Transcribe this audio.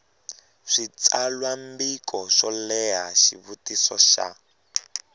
switsalwambiko swo leha xivutiso xa